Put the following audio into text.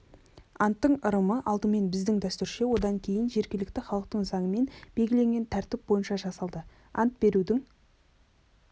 анттың ырымы алдымен біздің дәстүрше одан кейін жергілікті халықтың заңымен белгіленген тәртіп бойынша жасалды ант берудің